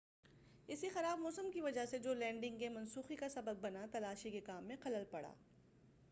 اسی خراب موسم کی وجہ سے جو لینڈنگ کے منسوخی کا سبب بنا تلاشی کے کام میں خلل پڑا